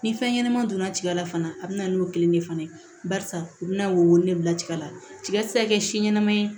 Ni fɛn ɲɛnama donna tiga la fana a bɛ na n'o kelen de fana ye barisa u bɛna wolonfila tigɛ la tiga ti se ka kɛ si ɲɛnama ye